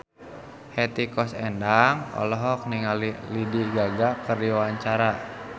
Hetty Koes Endang olohok ningali Lady Gaga keur diwawancara